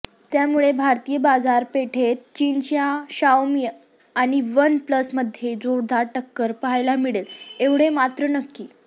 त्यामुळे भारतीय बाजारपेठेत चीनच्या शाओमी आणि वन प्लसमध्ये जोरदार टक्कर पहायला मिळेल ऐवढे मात्र नक्की